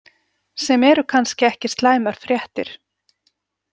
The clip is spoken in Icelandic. Sem eru kannski ekki slæmar fréttir.